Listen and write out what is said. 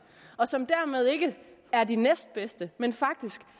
og som dermed ikke er de næstbedste men faktisk